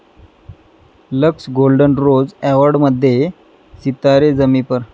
Lux golden rose अॅवाॅर्ड'मध्ये सितारे जमी पर!